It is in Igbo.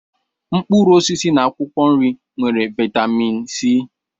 mkpụrụ osisi na akwụkwọ nri nwere vitamin C.